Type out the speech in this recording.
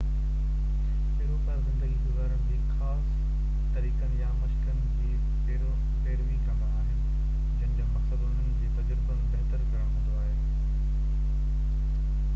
پيروڪار زِندگي گُذارڻ جي خاص طريقن يا مشقن جي پيروي ڪندا آهن جن جو مقصد اُنهن جي تَجربن بهتر ڪرڻ هوندو آهي